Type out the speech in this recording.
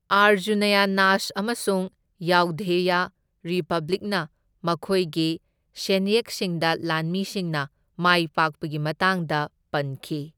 ꯑꯔꯖꯨꯅꯌꯅꯥꯖ ꯑꯃꯁꯨꯡ ꯌꯥꯎꯙꯦꯌ ꯔꯤꯄꯕ꯭ꯂꯤꯛꯅ ꯃꯈꯣꯏꯒꯤ ꯁꯦꯟꯌꯦꯛꯁꯤꯡꯗ ꯂꯥꯟꯃꯤꯁꯤꯡꯅ ꯃꯥꯏꯄꯥꯛꯄꯒꯤ ꯃꯇꯥꯡꯗ ꯄꯟꯈꯤ꯫